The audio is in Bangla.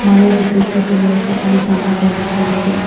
মলের ভিতর ছোট বড়ো সকলে জামা প্যান্ট রয়েছে।